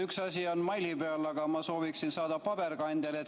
Üks asi on saada neid meili teel, aga ma sooviksin neid saada ka paberil.